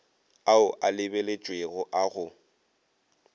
ao a lebeletšwego a go